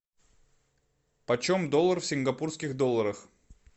почем доллар в сингапурских долларах